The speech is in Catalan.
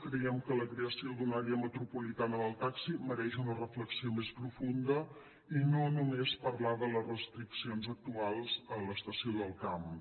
creiem que la creació d’una àrea metropolitana del taxi mereix una reflexió més profunda i no només parlar de les restriccions actuals a l’estació del camp